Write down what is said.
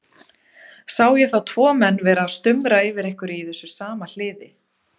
Sé ég þá tvo menn vera að stumra yfir einhverju í þessu sama hliði.